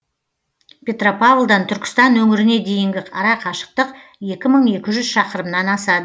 петропавлдан түркістан өңіріне дейінгі арақашықтық екі мың екі жүз шақырымнан асады